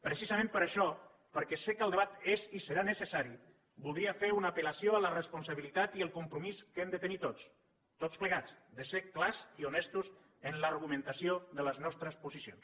precisament per això perquè sé que el debat és i serà necessari voldria fer una apel·lació a la responsabilitat i el compromís que hem de tenir tots tots plegats de ser clars i honestos en l’argumentació de les nostres posicions